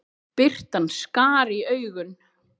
Birtan skar í augun.